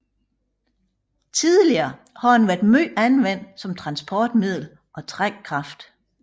Tidligere har den været meget anvendt som transportmiddel og trækkraft